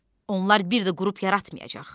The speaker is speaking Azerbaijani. Onlar bir də qrup yaratmayacaq.